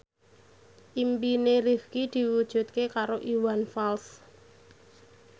impine Rifqi diwujudke karo Iwan Fals